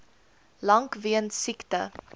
lank weens siekte